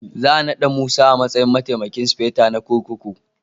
Za a nada Musa a matsayin Mataimakin Sufeto na kurkuku